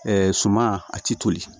suma a tɛ toli